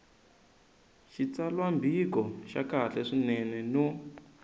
xitsalwambiko xa kahle swinene no